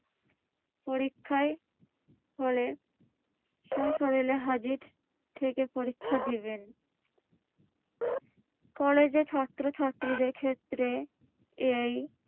পরীক্ষার হলে স্বশরীরে হাজির থেকে পরীক্ষা দিবেন। কলেজের ছাত্রছাত্রীদের ক্ষেত্রে এই